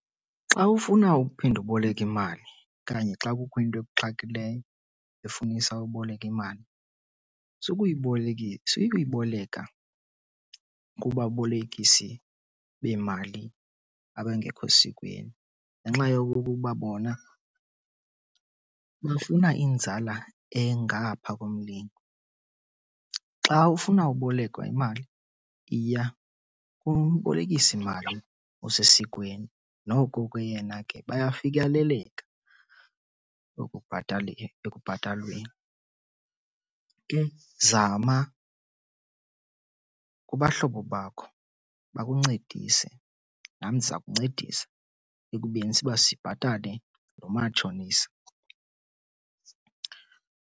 Xa ufuna uphinda uboleke imali okanye xa kukho into ekuxakileyo efunisa uboleke imali, sukuyiboleka kubabolekisi bemali abangekho sikweni ngenxa yokuba bona bafuna inzala engapha komlingo. Xa ufuna ubolekwa imali iya kumbolekisimali osesikweni noko ke yena ke bayafikeleleka ekubhatalweni. Ke zama kubahlobo bakho bakuncedise nam ndiza kuncedisa ekubeni uba sibhatale lo matshonisa.